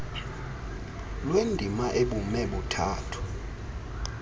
lwendima ebume buthathu